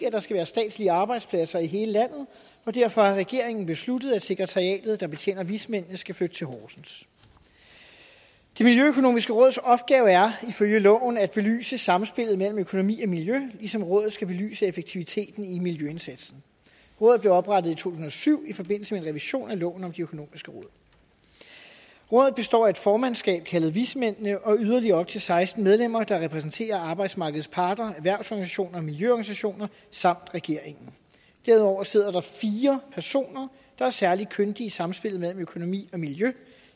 at der skal være statslige arbejdspladser i hele landet og derfor har regeringen besluttet at sekretariatet der betjener vismændene skal flytte til horsens det miljøøkonomiske råds opgave er ifølge loven at belyse samspillet mellem økonomi og miljø ligesom rådet skal belyse effektiviteten i miljøindsatsen rådet blev oprettet i to tusind og syv i forbindelse med en revision af loven om de økonomiske råd rådet består af et formandskab kaldet vismændene og yderligere op til seksten medlemmer der repræsenterer arbejdsmarkedets parter erhvervsorganisationer miljøorganisationer samt regeringen derudover sidder der fire personer der er særlig kyndige i samspillet mellem økonomi og miljø